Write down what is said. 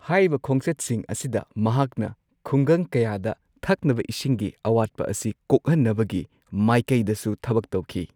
ꯍꯥꯏꯔꯤꯕ ꯈꯣꯡꯆꯠꯁꯤꯡ ꯑꯁꯤꯗ ꯃꯍꯥꯛꯅ ꯈꯨꯡꯒꯪ ꯀꯌꯥꯗ ꯊꯛꯅꯕ ꯏꯁꯤꯡꯒꯤ ꯑꯋꯥꯠꯄ ꯑꯁꯤ ꯀꯣꯛꯍꯟꯅꯕꯒꯤ ꯃꯥꯢꯀꯩꯗꯁꯨ ꯊꯕꯛ ꯇꯧꯈꯤ꯫